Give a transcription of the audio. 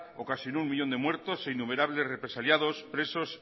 ocasionó un millón de muertos e innumerables represaliados presos